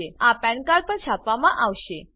આ PAN card PAN card પર છાપવામાં આવશે